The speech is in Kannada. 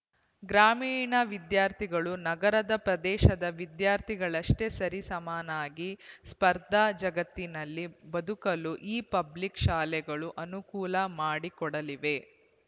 ಗ್ರಾಮೀಣ ವಿದ್ಯಾರ್ಥಿಗಳು ನಗರ ಪ್ರದೇಶದ ವಿದ್ಯಾರ್ಥಿಗಳಷ್ಟೇ ಸರಿ ಸಮನಾಗಿ ಸ್ಪರ್ಧಾ ಜಗತ್ತಿನಲ್ಲಿ ಬದುಕಲು ಈ ಪಬ್ಲಿಕ್ ಶಾಲೆಗಳು ಅನುಕೂಲ ಮಾಡಿಕೊಡಲಿವೆ